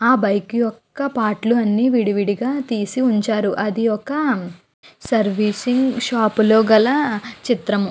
ఆ బైక్ యొక్క పార్ట్ లు అన్నీ విడివిడిగా తీసి ఉంచారు. అది ఒక సర్వీసింగ్ షాపు లో గల చిత్రం --